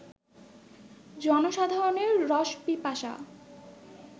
জনসাধারণের রসপিপাসা